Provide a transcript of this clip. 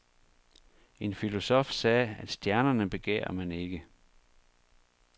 En filosof sagde, at stjernerne begærer man ikke.